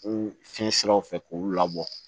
Ko fiɲɛ siraw fɛ k'olu labɔ